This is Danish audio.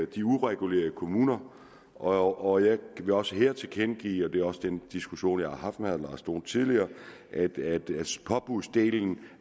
de uregulerede kommuner og jeg vil også her tilkendegive og det er også den diskussion jeg har haft med herre lars dohn tidligere at påbudsdelen